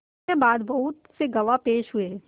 इसके बाद बहुत से गवाह पेश हुए